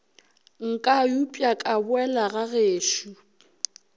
nka upša ka boela gagešo